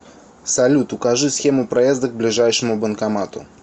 салют укажи схему проезда к ближайшему банкомату